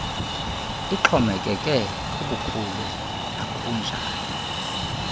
ixhomekeke kubukhulu nakubunjani